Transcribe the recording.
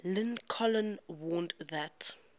lincoln warned that